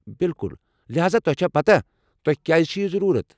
بِلکُل، لہاذا تۄہہ چھا پتاہ تۄہہِ کیٛازٕ چھُ یہِ ضروٗرت ۔